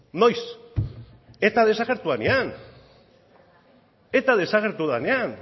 noiz eta desagertu denean eta desagertu denean